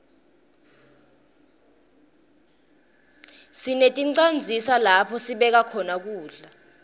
sineticandzisa lapho sibeka khona kudla